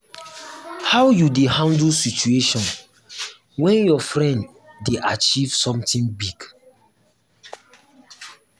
how you dey handle situation when your friend dey achieve something big? big?